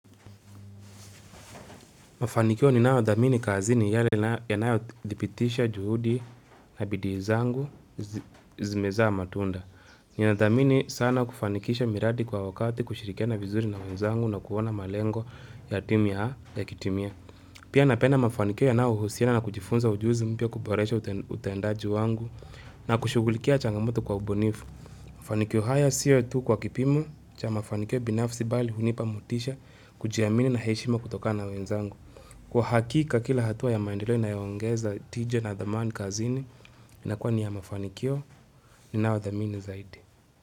Mafanikio ninayothamini kazini ni yale yanayodhibitisha juhudi na bidii zangu zimezaa matunda. Ninathamini sana kufanikisha miradi kwa wakati, kushirikiana vizuri na wenzangu na kuona malengo ya timu yakitimia. Pia napenda mafanikio yanayohusiana na kujifunza ujuzi mpya, kuboresha utendaji wangu na kushughulikia changamoto kwa ubunifu. Mafanikio haya sio tu kwa kipimo cha mafanikio binafsi bali hunipa motisha kujiamini na heshima kutokana na wenzangu. Kwa hakika kila hatua ya maendeleo inayoongeza tija na dhamani kazini inakuwa ni ya mafanikio ninayo thamini zaidi.